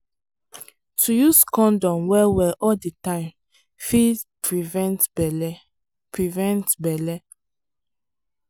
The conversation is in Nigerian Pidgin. to use condom well well all the time fit prevent belle. prevent belle.